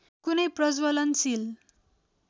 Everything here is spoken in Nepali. कुनै प्रज्वलनशील